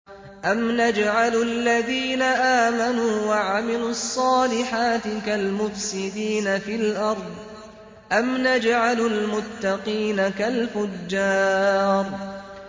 أَمْ نَجْعَلُ الَّذِينَ آمَنُوا وَعَمِلُوا الصَّالِحَاتِ كَالْمُفْسِدِينَ فِي الْأَرْضِ أَمْ نَجْعَلُ الْمُتَّقِينَ كَالْفُجَّارِ